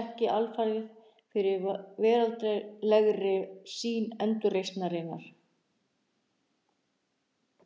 ekki alfarið fyrir veraldlegri sýn endurreisnarinnar.